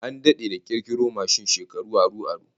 An dade da kirkiro mashin, shekaru aru aru